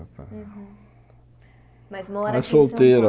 Mas mora aqui É solteira Em São Paulo?